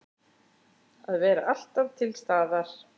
Að vera alltaf til staðar.